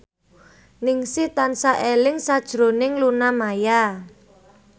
Ningsih tansah eling sakjroning Luna Maya